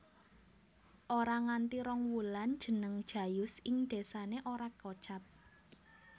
Ora nganti rong wulan jeneng Jayus ing désane ora kocap